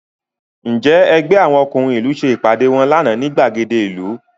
Ǹjẹ́ ẹgbẹ́ àwọn ọkùnrin ìlú ṣe ìpàdé wọn lánàá ní ìgbàgede ìlú?